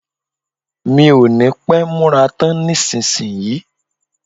Mi ò ní pẹ́ múra tán nísìnyí